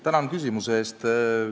Tänan küsimuse eest!